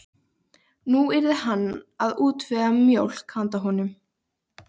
Já, en þetta eru nú bara tveir tímar.